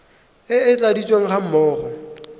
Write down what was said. e e tladitsweng ga mmogo